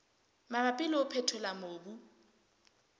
mabapi le ho phethola mobu